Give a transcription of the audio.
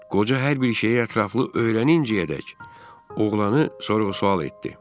Qoca hər bir şeyə ətraflı öyrənincəyə dək oğlanı sorğu-sual etdi.